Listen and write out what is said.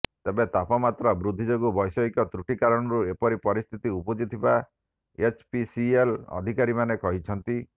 ତେବେ ତାପମାତ୍ରା ବୃଦ୍ଧି ଯୋଗୁ ବୈଷୟିକ ତ୍ରୁଟି କାରଣରୁ ଏପରି ପରିସ୍ଥିତି ଉପୁଜିଥିବା ଏଚପିସିଏଲ ଅଧିକାରୀମାନେ କହିଛନ୍ତି